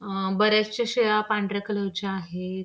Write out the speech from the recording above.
अ बऱ्याचशा शेळ्या पांढरा कलरच्या आहेत.